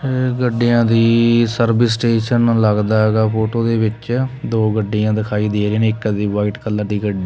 ਗੱਡੀਆਂ ਦੀ service station ਲੱਗਦਾ ਹੈਗਾ ਫੋਟੋ ਦੇ ਵਿੱਚ ਦੋ ਗੱਡੀਆਂ ਦਿਖਾਈ ਦੇ ਰਹੀਆਂ ਨੇ ਇੱਕ ਦੀ ਵਾਈਟ ਕਲਰ ਦੀ --